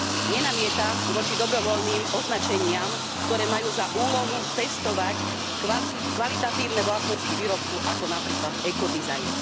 Nenamietam voči dobrovoľným označeniam, ktoré majú za úlohu testovať kvalitatívne vlastnosti výrobku, ako napríklad ECO dizajn.